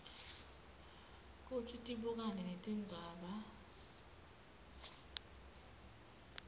kutsi tibukane netindzaba